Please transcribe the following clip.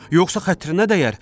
Yoxsa xətrinə dəyər.